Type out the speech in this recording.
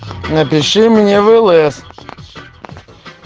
напиши мне в лс